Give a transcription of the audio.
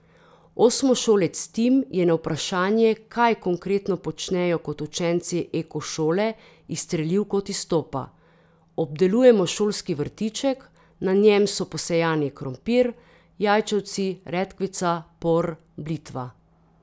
Osmošolec Tim je na vprašanje, kaj konkretno počnejo kot učenci Ekošole, izstrelil kot iz topa: 'Obdelujemo šolski vrtiček, na njem so posejani krompir, jajčevci, redkvica, por, blitva.